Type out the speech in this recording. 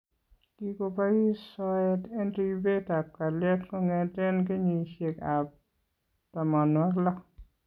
Kikobois soyeet en ribeetab kalyet kongeten kenyisyeekab 60